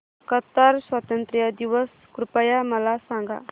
Qatar स्वातंत्र्य दिवस कृपया मला सांगा